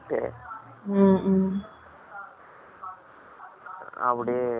அப்படியே வந்ததுப்பா.